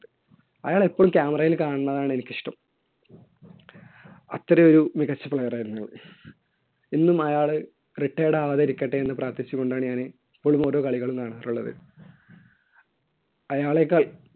അയാളെ എപ്പോഴും camera യിൽ കാണുന്നതാണ് എനിക്കിഷ്ടം. അത്ര ഒരു മികച്ച player ആയിരുന്നു. എന്നും അയാൾ retired ആകാതിരിക്കട്ടെ എന്ന് പ്രാർത്ഥിച്ചുകൊണ്ടാണ് ഞാൻ എപ്പോളും ഓരോ കളികളും കാണാറുള്ളത്. അയാളേക്കാൾ